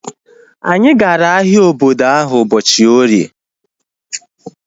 Anyi gara ahịa obodo ahu ụbọchị orie